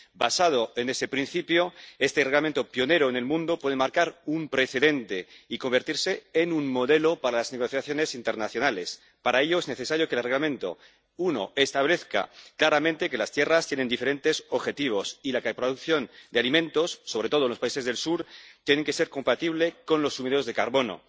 Basado en ese principio, este Reglamento, pionero en el mundo, puede marcar un precedente y convertirse en un modelo para las negociaciones internacionales. Para ello es necesario que el Reglamento, en primer lugar, establezca claramente que las tierras tienen diferentes objetivos y que la producción de alimentos, sobre todo en los países del sur, tiene que ser compatible con los sumideros de carbono